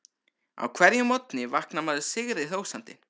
Á hverjum morgni vaknar maður sigri hrósandi.